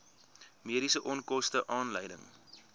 mediese onkoste aanleiding